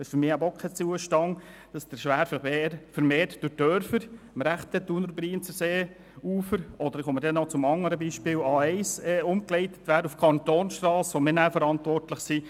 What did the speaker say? Es ist für mich kein Zustand, dass der Schwerverkehr vermehrt durch die Dörfer am rechten Thuner- und Brienzerseeufers umgeleitet wird oder auf die Kantonsstrasse, für die wir dann verantwortlich sind.